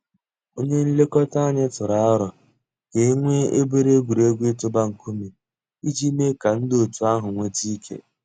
Ònyè nlèkò̩tà ànyị̀ tụrụ̀ àrò̩ kà e nwee obere egwuregwu itụ̀bà ńkùmé̀ íjì mée kà ńdí ọ̀tù àhụ̀ nwete ike.